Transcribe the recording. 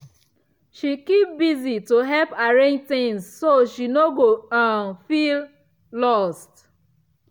she keep busy to help arrange things so she no go um feel lost.